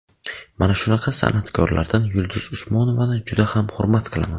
Mana shunaqa san’atkorlardan Yulduz Usmonovani juda ham hurmat qilaman.